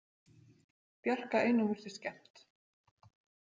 Bjarka einum virtist skemmt.